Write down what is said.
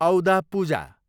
औदा पूजा